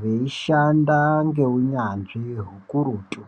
veishanda ngeunyanzvi hukurutu